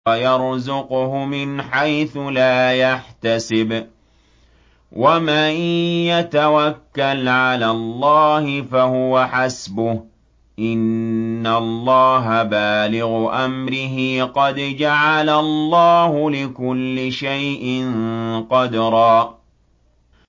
وَيَرْزُقْهُ مِنْ حَيْثُ لَا يَحْتَسِبُ ۚ وَمَن يَتَوَكَّلْ عَلَى اللَّهِ فَهُوَ حَسْبُهُ ۚ إِنَّ اللَّهَ بَالِغُ أَمْرِهِ ۚ قَدْ جَعَلَ اللَّهُ لِكُلِّ شَيْءٍ قَدْرًا